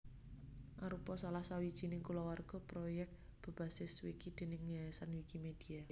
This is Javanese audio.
Arupa salah sawijining kulawarga proyèk bebasis wiki déning Yayasan Wikimedia